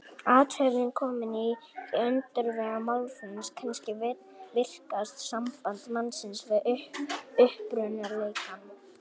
Athöfnin komin í öndvegi mannlífs, kannski virkasta samband mannsins við upprunaleikann.